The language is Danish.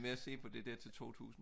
med at så på det der til 2000